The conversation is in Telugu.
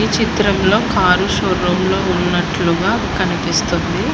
చిత్రంలో కారు షోరూంలో ఉన్నట్లుగా కనిపిస్తుంది.